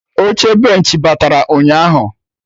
Oche benchị batara ụnyaahụ